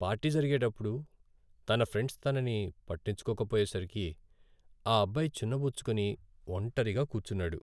Party జరిగేటప్పుడు తన friends తనని పట్టించుకోకపోయేసరికి ఆ అబ్బాయి చిన్నబుచ్చుకుని ఒంటరిగా కూర్చున్నాడు.